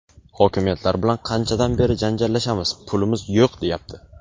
Hokimiyatlar bilan qanchadan beri janjallashamiz, "pulimiz yo‘q", deyapti.